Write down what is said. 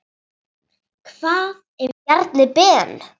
Hvað ef Bjarni Ben.